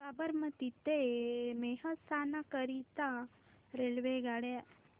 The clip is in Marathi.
साबरमती ते मेहसाणा करीता रेल्वेगाड्या